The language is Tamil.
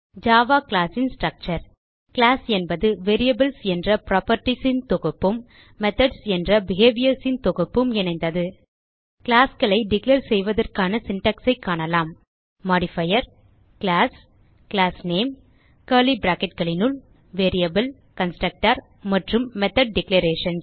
ஜாவா கிளாஸ் ன் ஸ்ட்ரக்சர் கிளாஸ் என்பது வேரியபிள்ஸ் என்ற புராப்பர்ட்டீஸ் ன் தொகுப்பும் மெத்தோட்ஸ் என்ற பிஹேவியர்ஸ் ன் தொகுப்பும் இணைந்தது classகளை டிக்ளேர் செய்வதற்கான சின்டாக்ஸ் ஐ காணலாம் மோடிஃபயர் கிளாஸ் கிளாஸ்நேம் கர்லி bracketகளினுள் variable கன்ஸ்ட்ரக்டர் மற்றும் மெத்தோட் declarations